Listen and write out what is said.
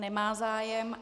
Nemá zájem.